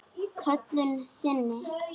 Köllun sinni?